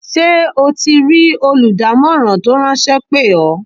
Ṣé o ti rí olùdámọ̀ràn tó ráńṣẹ́ pè ọ́?